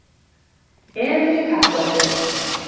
Emil í Kattholti